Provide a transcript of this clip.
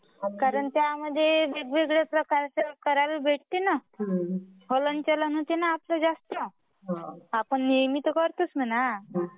कारण त्यामध्ये वेगवेगळे प्रकारचे करायला भेटते ना बोलणं चलन होते मा आपला जास्त. आपण नेहमी तर करतोच म्हणा.